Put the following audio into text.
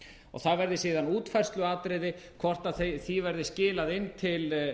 og það verði síðan útfærsluatriði hvort því verði skilað inn til